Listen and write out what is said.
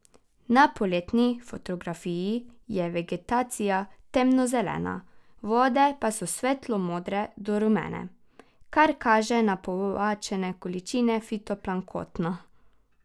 Na poletni fotografiji je vegetacija temno zelena, vode pa so svetlo modre do rumene, kar kaže na povečane količine fitoplanktona.